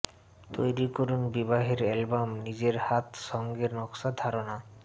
তৈরি করুন বিবাহের অ্যালবাম নিজের হাত সঙ্গে নকশা ধারণা